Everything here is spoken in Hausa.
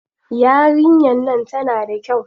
Yarinyar nan tana da kyau.